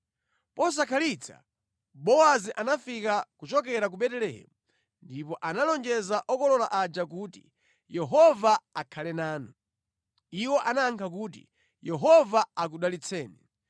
Posakhalitsa Bowazi anafika kuchokera ku Betelehemu ndipo analonjera okolola aja kuti, “Yehova akhale nanu!” Iwo anayankha kuti, “Yehova akudalitseni.”